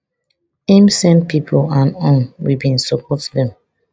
im send pipo and um we bin support dem